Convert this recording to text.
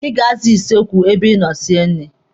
Ị ga-aza kichin ebe ị nọ sie nri.